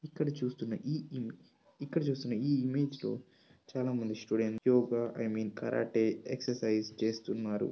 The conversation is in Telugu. ఇక్కడ చూస్తున్న ఈ ఇమ్ ఇక్కడ చూస్తున్న ఈ ఇమేజ్ లో చాలా మంది students yoga I mean karate exercise చేస్తున్నారు.